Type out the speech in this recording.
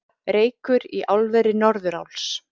Reykur í álveri Norðuráls